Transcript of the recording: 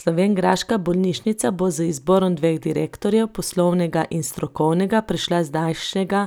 Slovenjgraška bolnišnica bo z izborom dveh direktorjev, poslovnega in strokovnega, prešla z zdajšnjega